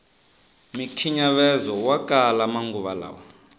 mikhinyavezowa kala manguva lawa